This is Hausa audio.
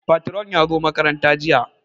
Patron ya zo makaranta jiya